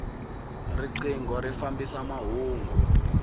rinqingho ri fambisa mahungu